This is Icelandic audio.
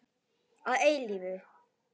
Að eilífu.